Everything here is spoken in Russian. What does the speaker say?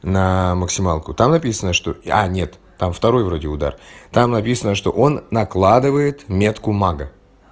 на максималку там написано что а нет там второй вроде удар там написано что он накладывает метку мага